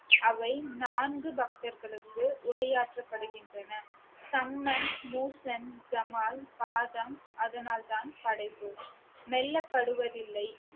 அவை நான்கு பக்தர்களுக்கு உரையாற்றப்படுகின்றன சம்மன் மூக்கன் ஜமால் பாதம் அதனால்தான் படைப்பு மெல்ல படுவதில்லை